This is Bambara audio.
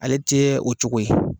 Ale tɛ o cogo ye.